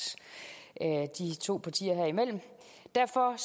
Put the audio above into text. os to partier imellem derfor